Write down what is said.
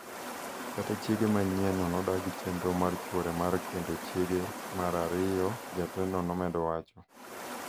Kata chiege manyienno nodagi chenro mar chwore mar kendo chiege mar ariyo, jatendno nomedo wacho.